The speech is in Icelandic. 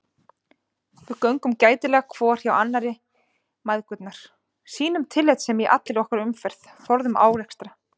Við göngum gætilega hvor hjá annarri mæðgurnar, sýnum tillitssemi í allri okkar umferð, forðumst árekstra.